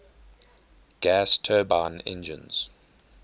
gas turbine engines